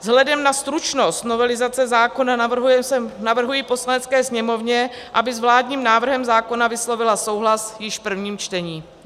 Vzhledem na stručnost novelizace zákona navrhuji Poslanecké sněmovně, aby s vládním návrhem zákona vyslovila souhlas již v prvním čtení.